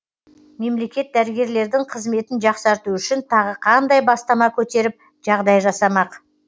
мемлекет дәрігерлердің қызметін жақсарту үшін тағы қандай бастама көтеріп жағдай жасамақ